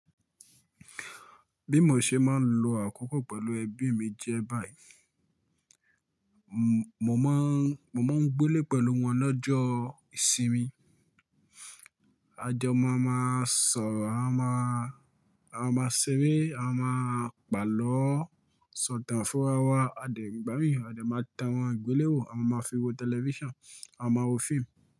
Bí mo ṣe máa ń lo àkókò pẹ̀lú ẹbí mi jẹ́ báyìí. Mo máa ń, mo máa ń gbélé pẹ̀lú wọn lọ́jọ́ ìsinmi. A jọ má máa sọ̀rọ̀, a máa, a máa sere, a máa pàlọ́, sọ̀tàn fúnra wa, a dẹ̀, igbá mií, a dẹ̀ máa tàn awọ́n igbeléwo, a máa fi wo tẹlifíṣàn, a máa wo fíìmù.